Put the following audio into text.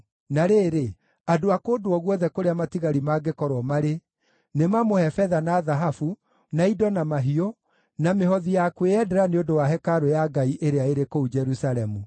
Na rĩrĩ, andũ a kũndũ o guothe kũrĩa matigari mangĩkorwo marĩ, nĩ mamũhe betha na thahabu, na indo na mahiũ, na mĩhothi ya kwĩyendera nĩ ũndũ wa hekarũ ya Ngai ĩrĩa ĩrĩ kũu Jerusalemu.’ ”